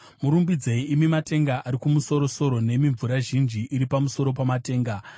Murumbidzei, imi matenga ari kumusoro-soro, nemi mvura zhinji iri pamusoro pamatenga.